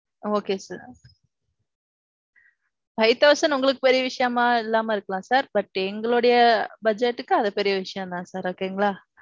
Okay sir. Five thousand உங்களுக்கு பெரிய விஷயமா இல்லாம இருக்கலாம் sir. But எங்களுடைய budget க்கு அது பெரிய விஷயம் தான் sir. okay ங்களா.